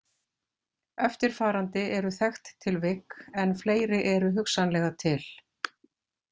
Eftirfarandi eru þekkt tilvik en fleiri eru hugsanlega til.